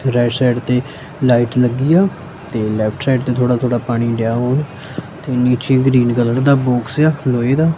Right side ਤੇ light ਲੱਗੀ ਆ ਤੇ ਲੇਫ਼੍ਟ ਸਾਈਡ ਤੇ ਥੋੜਾ ਥੋੜ੍ਹਾ ਪਾਣੀ ਤੇ ਨੀਚੇ ਗ੍ਰੀਨ ਕਲਰ ਦਾ ਬੌਕਸ ਆ ਲੋਹੇ ਦਾ।